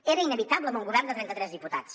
era inevitable amb un govern de trenta tres diputats